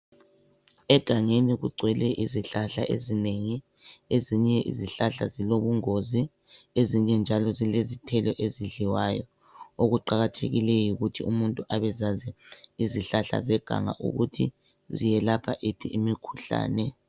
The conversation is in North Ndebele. Egangeni kugcwele izihlahla ezinengi, ezinye izihlahla zilobungozi ezinye njalo zilezithelo ezidliwayo okuqakathekileyo yikuthi umuntu abezazi izihlahla zeganga ukuthi ziyelapha iphi imikhuhlane.